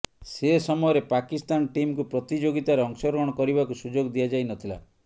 ସେ ସମୟରେ ପାକିସ୍ତାନ ଟିମ୍କୁ ପ୍ରତିଯୋଗିତାରେ ଅଂଶଗ୍ରହଣ କରିବାକୁ ସୁଯୋଗ ଦିଆଯାଇ ନଥିଲା